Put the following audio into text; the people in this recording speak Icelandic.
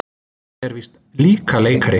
Hann er víst líka leikari.